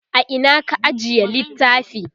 a Ina ka ajiye littafi?